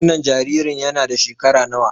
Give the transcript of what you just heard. Wannan jaririn yana da shekara nawa?